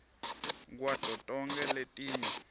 kwato tonkhe letinye